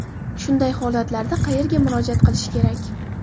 Shunday holatlarda qayerga murojaat qilish kerak?